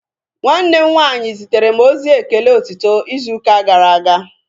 Nwanne m nwaanyị zitere m ozi ekele otito izu ụka gara aga